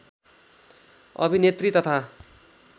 अभिनेत्री तथा